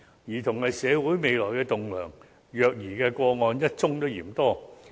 兒童是社會未來的棟樑，虐兒個案一宗也嫌多。